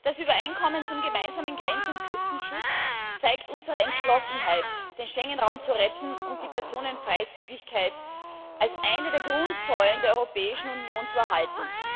Herr Präsident! Das Übereinkommen zum gemeinsamen Grenz und Küstenschutz zeigt unsere Entschlossenheit, den Schengen Raum zu retten und die Personenfreizügigkeit als eine der Grundsäulen der Europäischen Union zu erhalten.